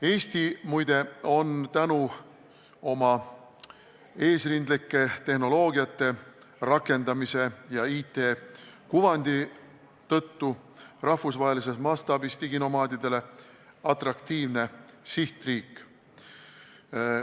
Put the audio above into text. Eesti, muide, on tänu oma eesrindlike tehnoloogiate rakendamisele ja IT-kuvandile rahvusvahelises mastaabis diginomaadidele atraktiivne sihtriik.